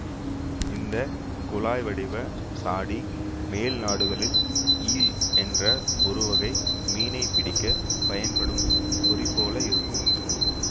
இந்த குழாய் வடிவ சாடி மேல் நாடுகளில் ஈல் என்ற ஒரு வகை மீனைப் பிடிக்கப் பயன் படும் பொறி போல இருக்கும்